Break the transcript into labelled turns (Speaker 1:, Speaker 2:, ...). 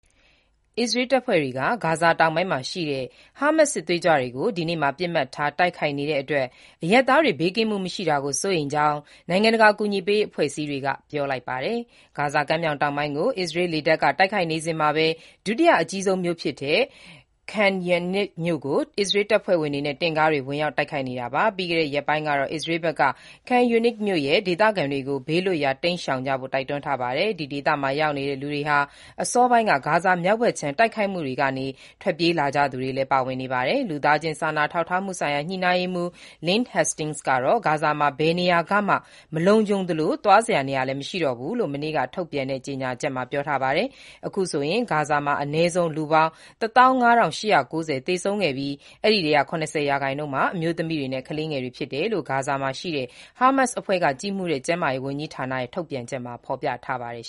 Speaker 1: အစ္စရေးတပ်ဖွဲ့တွေက ဂါဇာတောင်ပိုင်းမှာရှိတဲ့ ဟာမတ်စ်စစ်သွေးကြွတွေကို ဒီနေ့မှာ ပစ်မှတ်ထား တိုက်ခိုက်နေတဲ့အတွက် အရပ်သားတွေ ဘေးကင်းမှုမရှိတာကို စိုးရိမ်ကြောင်း နိုင်ငံတကာ အကူအညီပေးရေးအဖွဲ့အစည်းတွေက ပြောလိုက်ပါတယ်။ ဂါဇာကမ်းမြောင်တောင်ပိုင်းကို အစ္စရေးလေတပ်က တိုက်ခိုက်နေစဉ်မှာပဲ၊ ဒုတိယအကြီးဆုံးမြို့ဖြစ်တဲ့ Khan Younis ကိုလည်း အစ္စရေး ခြေလျင်တပ်က တင့်ကားတွေနဲ့ ဝင်ရောက် တိုက်ခိုက်နေတာပါ။ ပြီးခဲ့တဲ့ ရက်ပိုင်းကတော့ အစ္စရေးဘက်က Khan Younis မြို့ ဒေသခံတွေကို ဘေးလွတ်ရာကို တိန်းရှောင်ကြဖို့ တိုက်တွန်းထားပါတယ်။ ဒီဒေသမှာ ရောက်နေတဲ့ လူတွေဟာ အစောပိုင်းက ဂါဇာမြောက်ဘက်ခြမ်း တိုက်ခိုက်မှုကနေ ထွက်ပြေးလာကြသူတွေလည်း ပါဝင်နေပါတယ်။ လူသားချင်းစာနာထောက်ထားမှုဆိုင်ရာ ညှိနှိုင်းရေးမှူး Lynn Hastings က တော့ “ဂါဇာမှာ ဘယ်နေရာကမှ မလုံခြုံသလို သွားစရာနေရာလည်း မရှိတော့ဘူး” လို့ မနေ့က ထုတ်ပြန်တဲ့ ကြေညာချက်မှာ ပြောထားပါတယ်။ အခုဆိုရင် ဂါဇာမှာ အနည်းဆုံး လူပေါင်း ၁၅,၈၉၀ သေဆုံးခဲ့ပြီး အဲဒီအထဲက ၇၀ ရာခိုင်နှုန်းဟာ အမျိုးသမီးတွေနဲ့ ကလေးငယ်တွေဖြစ်တယ်လို့ ဟာမတ်စ်လက်အောက်ခံ ကျန်းမာရေးဝန်ကြီးဌာနရဲ့ ထုတ်ပြန်ချက်မှာ ဖော်ပြထားပါတယ်